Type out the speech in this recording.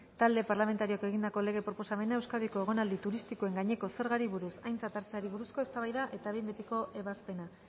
talde parlamentarioak egindako lege proposamena euskadiko egonaldi turistikoen gaineko zergari buruz aintzat hartzeari buruzko eztabaida eta behin betiko ebazpena